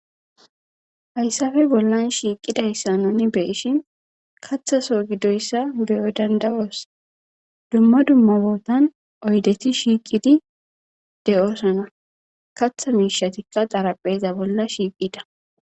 hayssafe bollan shiiqida yssanoni beishin kathaso giddoyssa beyo dandawoos dumma dumma bootan oydeti shiiqidi de7oosana katha miishatikka xarapheeza bolla shiiqida